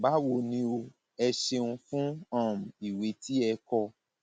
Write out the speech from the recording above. báwo ni o ẹ ṣeun fún um ìwé tí ẹ kọ